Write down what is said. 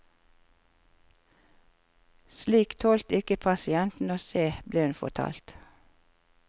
Slikt tålte ikke pasientene å se, ble hun fortalt.